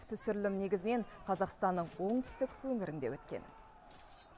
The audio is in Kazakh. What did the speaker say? түсірілім негізінен қазақстанның оңтүстік өңірінде өткен